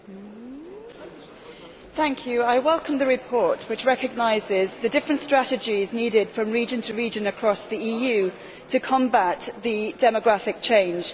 Madam President, I welcome the report, which recognises the different strategies needed from region to region across the EU to combat demographic change.